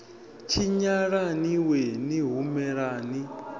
tshinyala ni wee ni humelani